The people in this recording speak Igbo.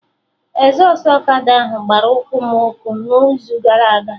Ezọstụ ọkada ahụ gbara ụkwụ m ọkụ n'izu gara aga